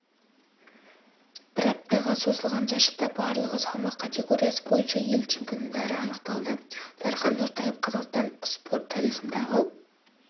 бір аптаға созылған жарыста барлығы салмақ категориясы бойынша ел чемпиондары анықталды дархан нортаев қазақстан спорт тарихындағы